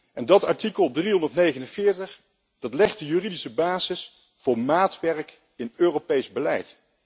En dat artikel 349 legt de juridische basis voor maatwerk in Europees beleid.